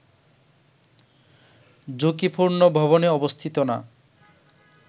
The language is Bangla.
ঝুঁকিপূর্ণ ভবনে অবস্থিত না